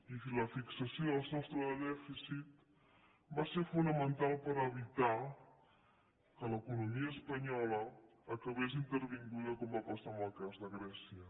i la fixació del sostre de dèficit va ser fonamental per evitar que l’economia espanyola acabés intervinguda com va passar en el cas de grècia